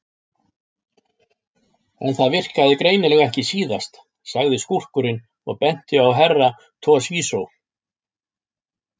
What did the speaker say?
En það virkaði greinilega ekki síðast, sagði skúrkurinn og benti á Herra Toshizo.